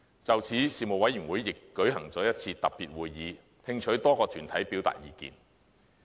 就此，事務委員會亦舉行了一次特別會議，聽取多個團體表達意見。